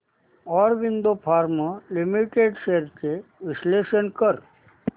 Aurobindo pharma limited shares चे विश्लेषण कर